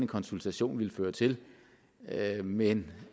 konsultation ville føre til men